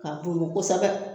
K'a dono kosɛbɛ